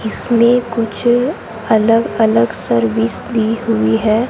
इसमें कुछ अलग अलग सर्विस दी हुई है।